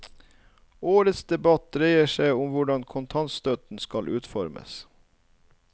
Årets debatt dreier seg om hvordan kontantstøtten skal utformes.